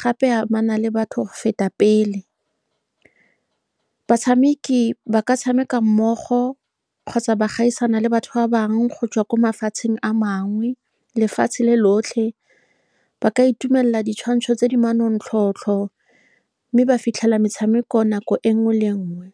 gape e amana le batho go feta pele. Batshameki ba ka tshameka mmogo kgotsa ba gaisana le batho ba bangwe go tswa kwa mafatsheng a mangwe lefatshe le lotlhe, ba ka itumelela ditshwantsho tse di manontlhotlho, mme ba fitlhelela metshameko nako e nngwe le nngwe.